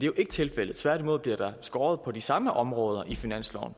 jo ikke tilfældet tværtimod bliver der skåret på de samme områder i finansloven